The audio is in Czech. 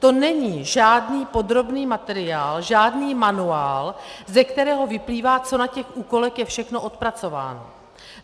To není žádný podrobný materiál, žádný manuál, ze kterého vyplývá, co na těch úkolech je všechno odpracováno.